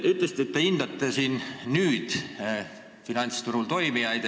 Te ütlesite, et te hindate nüüd finantsturul toimijaid.